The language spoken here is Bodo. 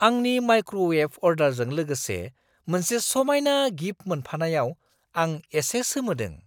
आंनि माइक्र'वेभ अर्डारजों लोगोसे मोनसे समायना गिफ्ट मोनफानायाव आं एसे सोमोदों!